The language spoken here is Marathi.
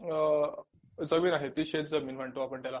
अ जमीन आहे ती शेतजमीन म्हणतो आपण त्याला